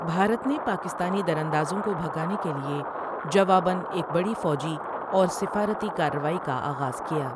بھارت نے پاکستانی در اندازوں کو بھگانے کے لیے جواباً ایک بڑی فوجی اور سفارتی کارروائی کا آغاز کیا۔